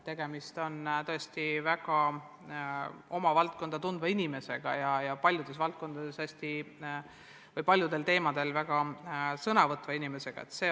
Tegemist on tõesti väga hästi oma valdkonda tundva inimesega ja hästi paljudel teemadel aktiivselt sõna võtva inimesega.